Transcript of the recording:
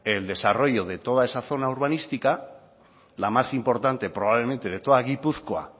el desarrollo de toda esa zona urbanística la más importante probablemente de toda gipuzkoa